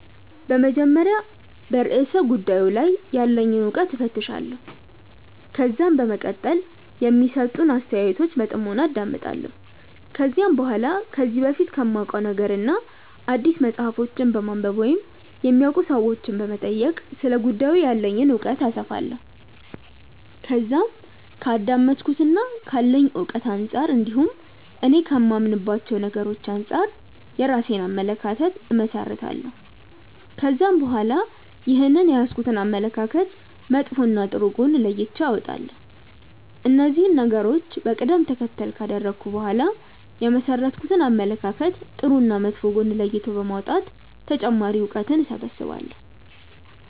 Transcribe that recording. በመጀመሪያ በርእሰ ጉዳዩ ላይ ያለኝን እውቀት እፈትሻለሁ። ከዛም በመቀጠል የሚሰጡትን አስተያየቶች በጥሞና አዳምጣለሁ። ከዛም በኋላ ከዚህ በፊት ከማውቀው ነገርና አዲስ መጽሐፎችን በማንበብ ወይም የሚያውቁ ሰዎችንም በመጠየቅ ስለ ጉዳዩ ያለኝን እውቀት አሰፋለሁ። ከዛም ከአዳመጥኩትና ካለኝ እውቀት አንጻር እንዲሁም እኔ ከማምንባቸው ነገሮች አንጻር የራሴን አመለካከት እመሠረታለሁ። ከዛም በኋላ ይህንን የያዝኩትን አመለካከት መጥፎና ጥሩ ጎን ለይቼ አወጣለሁ። እነዚህን ነገሮች በቀደም ተከተል ካደረኩ በኋላ የመሠረትኩትን አመለካከት ጥሩና መጥፎ ጎን ለይቶ በማውጣት ተጨማሪ እውቀትን እሰበስባለሁ።